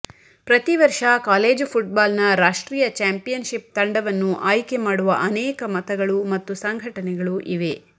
ಪ್ರತಿ ವರ್ಷ ಕಾಲೇಜು ಫುಟ್ಬಾಲ್ನ ರಾಷ್ಟ್ರೀಯ ಚಾಂಪಿಯನ್ಶಿಪ್ ತಂಡವನ್ನು ಆಯ್ಕೆ ಮಾಡುವ ಅನೇಕ ಮತಗಳು ಮತ್ತು ಸಂಘಟನೆಗಳು ಇವೆ